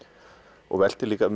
og velti líka